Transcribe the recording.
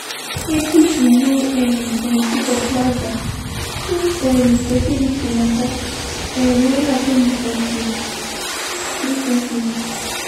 i notice say people no um plenty for plaza since um di security matter um wey happen recently. recently.